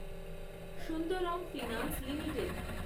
Sundaram finance limited